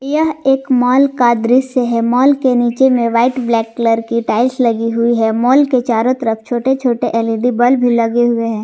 यह एक माल का दृश्य है माल के नीचे में व्हाइट ब्लैक कलर की टाइल्स लगी हुई है माल के चारों तरफ छोटे छोटे एल_ई_डी बल्ब भी लगे हुए है।